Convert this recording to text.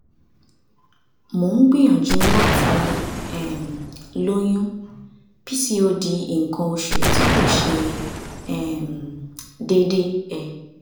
mo ń gbìyànjú láti um lóyún pcod nǹkan oṣù tí kò ṣe um déédéé um